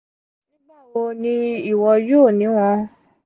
nigbawo ni iwọ yoo ni wọn?